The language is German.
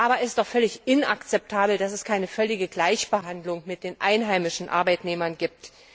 Aber es ist doch völlig inakzeptabel, dass es keine völlige Gleichbehandlung mit den einheimischen Arbeitnehmern